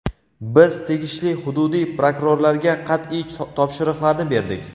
Biz tegishli hududiy prokurorlarga qat’iy topshiriqlarni berdik.